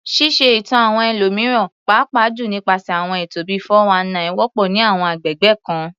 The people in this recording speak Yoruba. Ṣíṣe ẹ̀tàn àwọn ẹlòmíràn, pàápàá jùlọ nípasẹ̀ àwọn ètò bíi "419," wọ́pọ̀ ní àwọn agbègbè kan.